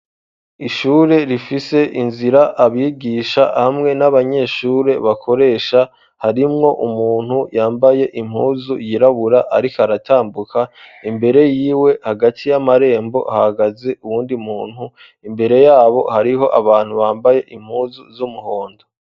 Ishure rifise inzira abigisha hamwe n'abanyeshure bakoresha harimwo umuntu yambaye impuzu yirabura ariko aratambuka imbere yiwe hagati y'amarembo hahagaze uwundi muntu imbere yabo hariho abantu bambaye impuzu z'umuhondo.